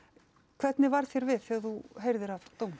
hvernig varð þér við þegar þú heyrðir af dómnum